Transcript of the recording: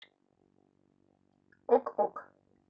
ок ок